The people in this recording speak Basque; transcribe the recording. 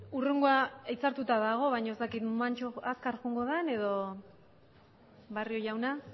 hurrengoa hitzartuta dago baina ez dakit azkar joango den edo barrio jauna